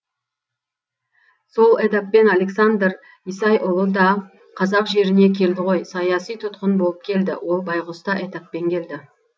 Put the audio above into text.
сол этаппен александр исайұлы да қазақ жеріне келді ғой саяси тұтқын болып келді ол байғұс та этаппен келді